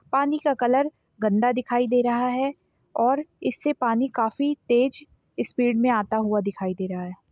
पानी का कलर गंदा दिखाई दे रहा है और इससे पानी काफी तेज स्पीड में आता हुआ दिखाई रहा है।